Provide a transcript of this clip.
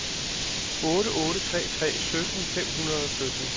otte otte tre tre sytten fem hundrede og sytten